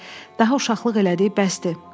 Daha uşaqlıq elədiyi bəsdir.